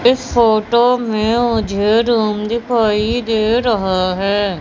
इस फोटो में मुझे रुम दिखाई दे रहा है।